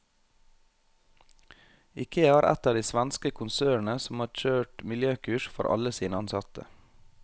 Ikea er ett av de svenske konsernene som har kjørt miljøkurs for alle sine ansatte.